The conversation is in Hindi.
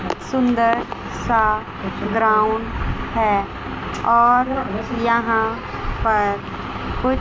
सुंदर सा ग्राउंड है और यहां पर कु--